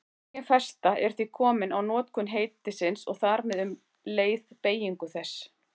Engin festa er því komin á notkun heitisins og þar með um leið beygingu þess.